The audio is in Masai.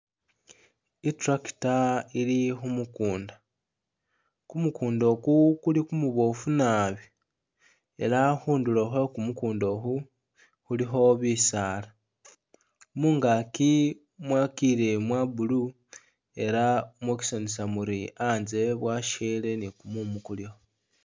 I'tractor ili khu mukunda, kumukunda uku kuli kumuboofu nabi ela khundulo khwe kumukunda ukhu khulikho bisaala. Mungaki mwakile mwa blue ela mwokesanisa muri anzye bwasyele ni kumumu kuliwo.